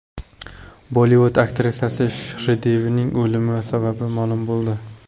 Bollivud aktrisasi Shridevining o‘limi sababi ma’lum bo‘ldi.